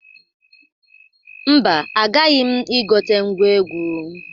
Mba, agaghị m igote ngwa egwu.